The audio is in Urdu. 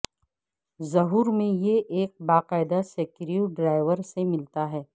ظہور میں یہ ایک باقاعدہ سکریو ڈرایور سے ملتا ہے